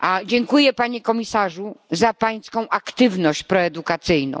Dziękuję Panie Komisarzu za Pańską aktywność proedukacyjną.